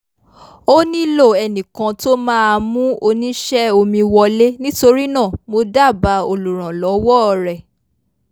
ó nílò ẹnì kan tó máa mú oníṣẹ́ omi wọlé nítorí náà mo dábáà olùrànlọ́wọ́ rẹ̀